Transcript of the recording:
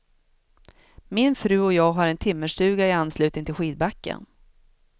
Min fru och jag har en timmerstuga i anslutning till skidbacken.